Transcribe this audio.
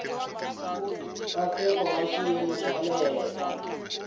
nkhaqato hi xiyimo xa le